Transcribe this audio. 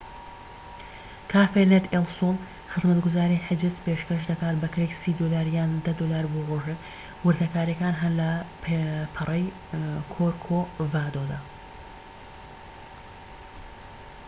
کافێ نێت ئێل سۆل خزمەتگوزاری حیجز پێشکەش دەکات بە کرێی ٣٠ دۆلار یان ١٠ دۆلار بۆ ڕۆژێك، وردەکاریەکان هەن لە پەڕەی کۆرکۆڤادۆدا